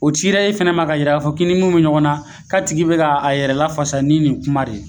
O cira e fɛnɛ ma ka yira ka fɔ k'i ni munnu be ɲɔgɔn na k'a tigi be ka a yɛrɛ lafasa ni nin kuma de ye.